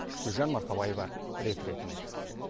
гүлжан марқабаева рет ретімен